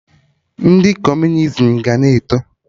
Ndị Kọmunizim ga na-eto